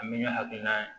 An bɛ ne hakilina ye